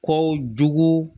Ko jugu